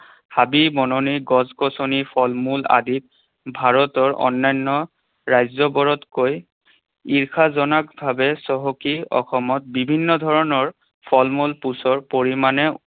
হাবি বননি, গছ গছনি, ফলমূল আদি ভাৰতৰ অন্যান্য ৰাজ্যবোৰতকৈ ঈৰ্ষাজনকভাৱে চহকী। অসমত বিভিন্ন ধৰণৰ ফলমূল পৰিমাণে